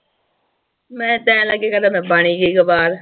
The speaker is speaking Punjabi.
ਮੈਂ ਕਹਿਣ ਲੱਗੀ ਮੈਂ ਬਣ ਈ ਗਈ